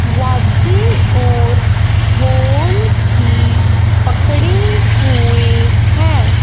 वाचिं ओर ढोल भी पकड़ी हुई है।